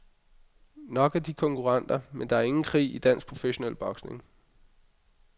Nok er de konkurrenter, men der er ingen krig i dansk professionel boksning.